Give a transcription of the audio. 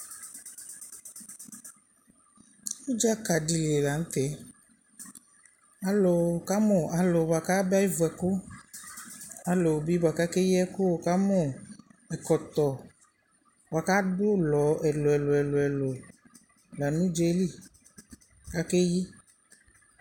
Ʋdzakadɩ li la n'tɛ Alʋ kamʋ alʋ bʋa ka na yevu ɛkʋ Alʋbɩ bʋa kayaba evu ɛkʋ, alʋbɩ bʋa k'akayi ɛkʋ , wʋ ka mʋ: ɛkɔtɔ bʋa k'adʋ ʋlɔ ɛlʋ ɛlʋ ɛlʋ lanʋ ʋdza yɛ li k'ake yi